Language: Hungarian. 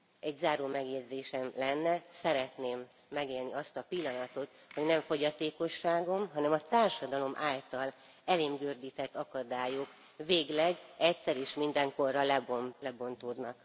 Egy záró megjegyzésem lenne szeretném megélni azt a pillanatot, hogy nem a fogyatékosságom, hanem a társadalom által elém gördített akadályok végleg, egyszer és mindenkorra lebontódnak.